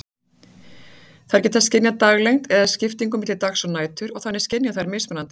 Þær geta skynjað daglengd eða skiptingu milli dags og nætur, og þannig skynja þær mismunandi